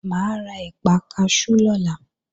Mà á ra ẹ̀pà kaṣú lọ́la